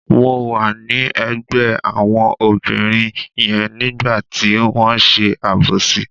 Mo wà ní ẹ̀gbẹ́ àwọn obìnrin yẹn nígbà tí wọ́n ṣe àbòsí.